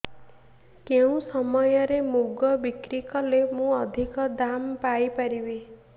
କେଉଁ ସମୟରେ ମୁଗ ବିକ୍ରି କଲେ ମୁଁ ଅଧିକ ଦାମ୍ ପାଇ ପାରିବି